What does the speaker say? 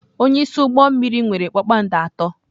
Onye isi ụgbọ mmiri nwere kpakpando atọ.